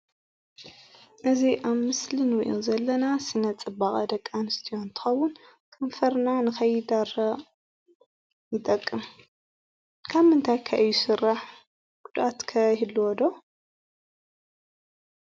እዚ ኣብ ምስሊ ንሪኦ ዘለና ስነ-ፅባቐ ደቂ ኣንስትዮ እንትኸውን ከንፈርና ንኸይደርቕ ይጠቅም፡፡ ካብምንታይ ከ እዩ ዝስራሕ ጉድኣት ከ ይህልዎ ዶ?